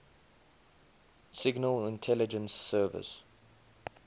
signal intelligence service